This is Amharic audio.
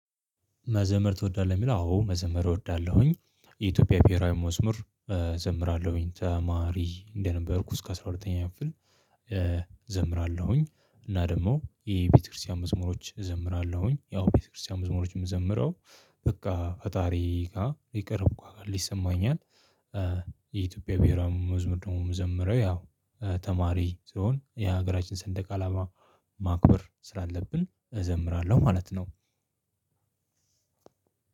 መዘመር ትወዳለህ የሚል አዎ መዘመር እወዳለሁኝ። የኢትዮጵያ ብሄራዊ መዝሙር እዘምራለሁኝ ተማሪ እንደነበርኩ እስከ አስራ ሁለተኛ ክፍል እዘምራለሁኝ እና ደግሞ ይሄ የቤተክርስቲያን መዝሙሮች እዘምራለሁኝ ያው ቤተክርስቲያን መዝሙሮች የምዘምረው በቃ ፈጣሪ ጋር ይቀርብኩ ያሀል ይሰማኛል። የኢትዮጵያ ብሄራውም መዝሙር ደግሞ የምዘምረው ያው ተማሪ ስሆን የ ሀገራችን ሰንደቅ አላማ ማክበር ስላለብን እዘምራለሁ ማለት ነው።